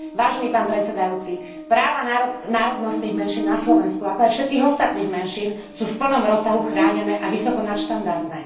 Vážený pán predsedajúci, práva národnostných menšín na Slovensku, ako aj všetkých ostatných menšín sú v plnom rozsahu chránené a vysoko nadštandardné.